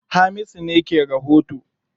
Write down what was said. Hamisu ne ke rahoto.